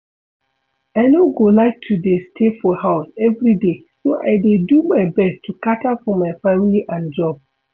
I no go like to dey stay for house everyday so I dey do my best to cater for my family and job